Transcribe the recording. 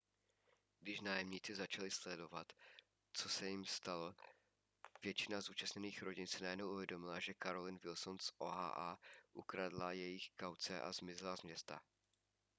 když nájemníci začali sdělovat co se jim stalo většina zúčastněných rodin si najednou uvědomila že carolyn wilson z oha ukradla jejich kauce a zmizela z města